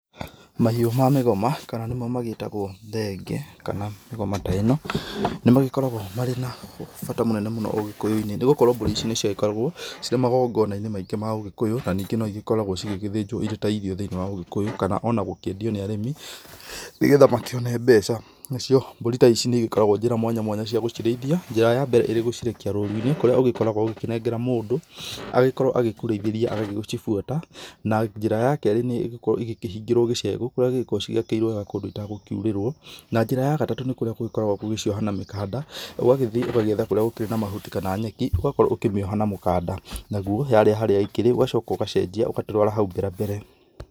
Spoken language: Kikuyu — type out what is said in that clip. Mahĩũ ma mĩgoma kana nĩmo magĩtagwo thenge kana mĩgoma ta ĩno nĩ magĩkoragwo marĩ na bata mũnene mũno ũgĩkũyũ~inĩ nĩ gũkorwo mbũri ici nĩ ciagĩkoragwo cirĩ magongona~inĩ maingĩ ma ũgĩkũyũ na ningĩ no igĩkoragwo cigĩgĩthĩnjwo irĩ ta irio thĩ~inĩ wa ũgĩkũyũ kana ona gũkĩendiyo nĩ arĩmĩ nĩ getha makĩone mbeca. Na cio mbũrĩ ta ici nĩ ĩgĩkoragwo njĩra mwanyamwanya cia gũcirĩithĩa. Njĩra ya mbere ĩrĩ gũcirekia rũru~inĩ kũrĩa ũgĩkoragwo ũgĩkĩnengera mũndũ agĩkorwo agĩkũreitheria agagĩ ci bũata. Na njĩra ya kerĩ nĩ ĩgũkorwo ĩgĩkĩhingĩrwo gĩcegũ kũrĩa igĩkoragwo cigĩakĩirwo wega kũndũ itagũ kiũrĩrwo. Na njĩra ya gatatũ kũrĩa gũgĩkoragwo gũcioha na mĩkanda ũgagĩthĩi ũgagĩetha kũrĩa gũkĩrĩ na mahũti kana nyeki ũgakorwo ũkĩmĩoha na mũkanda nagwo yarĩa harĩa ĩkĩrĩ ũgacoka ũgacenjia ũga twara haũ mberambere.